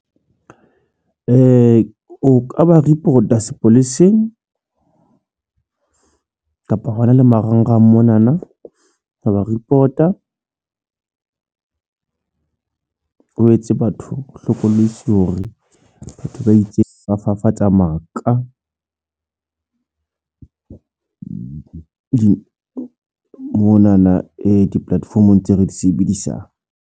O ka ba report-a sepoleseng kapa hona le marangrang mona na wa ba report-a o etse batho hlokolosi hore batho ba itseng ba fafatsa maka moo mona na di-platform-ong tse re di sebedisang.